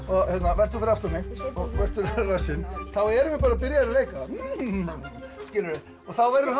vert þú fyrir aftan mig og vertu rassinn þá erum við bara byrjaðir að leika þá verður hann